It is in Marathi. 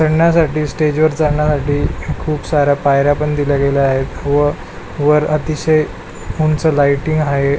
चढण्यासाठी स्टेजवर जाण्यासाठी खुप साऱ्या पायऱ्या पण दिल्या गेल्या आहेत व वर अतिशय उंच लायटिंग आहे.